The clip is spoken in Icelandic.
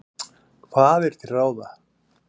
Hvað er til ráða?